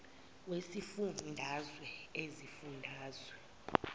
wesifun dazwe izifundazwe